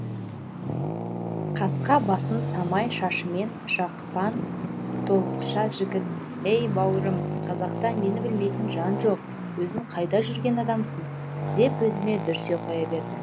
қасқа басын самай шашымен жапқан толықша жігіт әй бауырым қазақта мені білмейтін жан жоқ өзің қайда жүрген адамсың деп өзіме дүрсе қоя берді